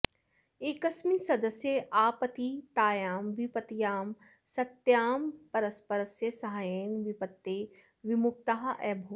एकस्मिन् सदस्ये आपतितायां विपत्त्यां सत्यां परस्परस्य साहाय्येन विपत्तेः विमुक्ताः अभूवन्